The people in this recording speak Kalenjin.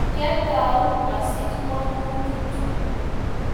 kiotou asich kwongutik chu.